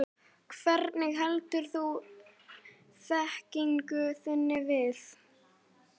Hvernig heldurðu þekkingu þinni við?